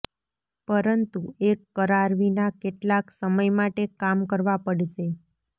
પરંતુ એક કરાર વિના કેટલાક સમય માટે કામ કરવા પડશે